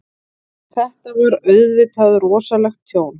Þetta var auðvitað rosalegt tjón.